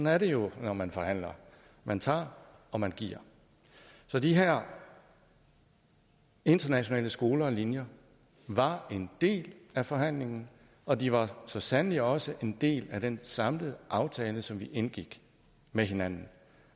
er det jo når man forhandler man tager og man giver så de her internationale skoler og linjer var en del af forhandlingen og de var så sandelig også en del af den samlede aftale som vi indgik med hinanden